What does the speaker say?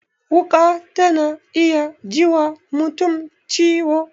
Wuƙa ta na iya ji wa mutum ciwo